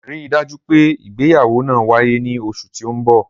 Rii daju pe ìgbéyáwọ́ naa waye ni oṣu ti n bọ.